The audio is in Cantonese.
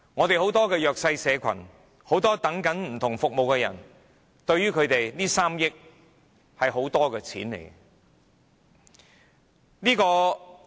對很多弱勢社群和等候不同服務的人，這3億元是一大筆金錢。